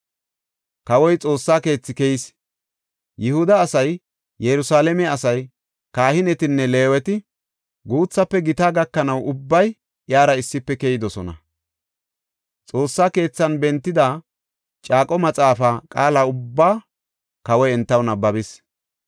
Kawoy Xoossa keethi keyis; Yihuda asay, Yerusalaame asay, kahinetinne Leeweti, guuthafe gita gakanaw ubbay iyara issife keyidosona. Xoossa keethan bentida caaqo maxaafa qaala ubbaa kawoy entaw nabbabis.